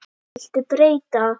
Viltu breyta?